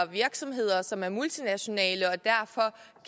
virksomheder som er multinationale og her